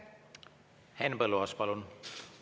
Henn Põlluaas, palun!